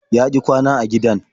Ya ƙi kwana a gidan.